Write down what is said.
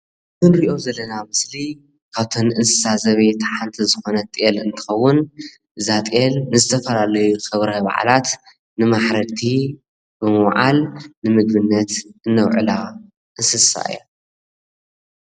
እዚ ንሪኦ ዘለና ምስሊ ካብተን እንስሳ ዘቤት ሓንቲ ዝኮነት ጤል እንትከዉን እዛ ጤል ንዝተፈላለዩ ክብረ በዓላት ንማሕረድቲ ብምዉዓል ንምግብነት ነዉዕላ እንስሳ እያ ።